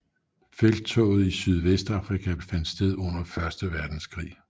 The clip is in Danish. Felttoget i Sydvestafrika fandt sted under første verdenskrig